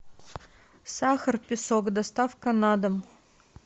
сахар песок доставка на дом